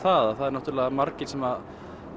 það það eru margir sem